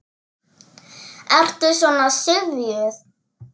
Ertu svona syfjuð?